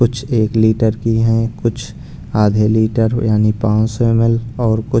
कुछ एक लीटर की है कुछ आधे लीटर यानी पाँच सौ एम_एल और कु --